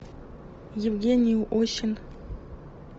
евгений осин